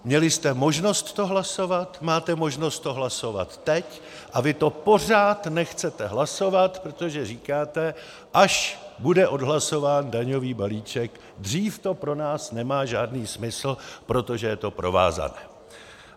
Měli jste možnost to hlasovat, máte možnost to hlasovat teď, a vy to pořád nechcete hlasovat, protože říkáte: až bude odhlasován daňový balíček, dřív to pro nás nemá žádný smysl, protože je to provázané.